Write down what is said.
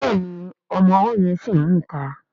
Béèni ọmọ ọwó yén sí mú ìká.